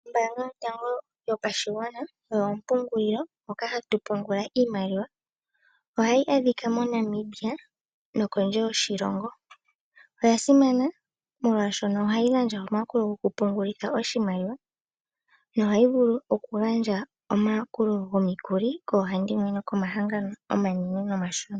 Ombaanga yotango yopashigwana oyo ompungulilo moka hatu pungula iimaliwa, ohayi adhika moNamibia nokondje yoshilongo oya simana molwashono ohayi gandja omayakulo gokupungulitha oshimaliwa, noha yi vulu okugandja omayakulo gomikuli koohandimwe nokomahangano omanene nomashona.